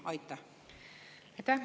Aitäh!